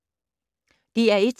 DR1